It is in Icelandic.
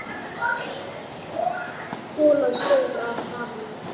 Golan stóð af hafi.